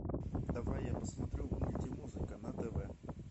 давай я посмотрю мультимузыка на тв